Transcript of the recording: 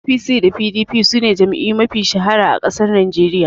APC da PDP sune jam'iyyu mafi shahara a ƙasar Najeriya